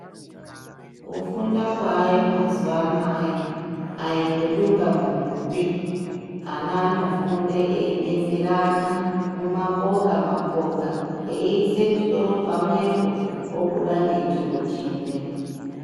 Kufunda kwaayo mazuva anaya ayi kwedungamunhupi. Ana anofunde eyibetserana mumapoka mapoka, eyiise misoro pamwepo, obuda ngechiro chimwe.